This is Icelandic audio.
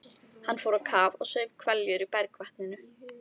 Hann fór á kaf og saup hveljur í bergvatninu.